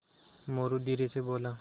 मोरू धीरे से बोला